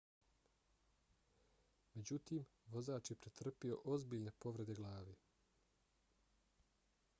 međutim vozač je pretrpio ozbiljne povrede glave